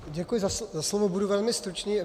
Děkuji za slovo, budu velmi stručný.